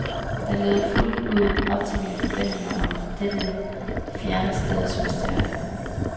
Den levede fuldt ud op til mine forventninger om dette fjerne steds mysterier.